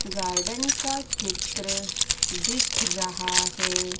Garden का चित्र दिख रहा है।